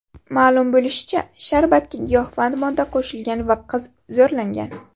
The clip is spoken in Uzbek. Ma’lum bo‘lishicha, sharbatga giyohvand modda qo‘shilgan va qiz zo‘rlangan.